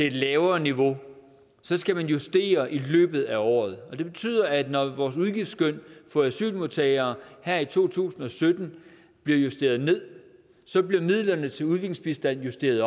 et lavere niveau så skal man justere i løbet af året det betyder at når vores udgiftsskøn for asylmodtagere her i to tusind og sytten bliver justeret ned bliver midlerne til udviklingsbistand justeret